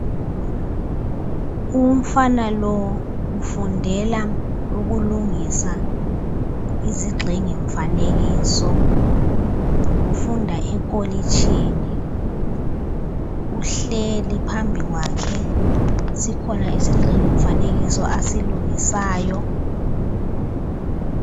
Umfana lo ufundela ukulungisa izigxingi mfanekiso ufunda ekolitshini uhleli phambi kwakhe sikhona isigxingi mfanekiso asilungisayo.